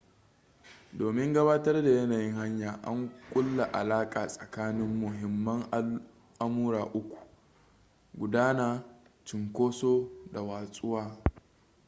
domin gabatar da yanayin hanya an kulla alaƙa tsakanin muhimman al’amura uku: 1 gudana 2 cinkoso da 3 watsuwa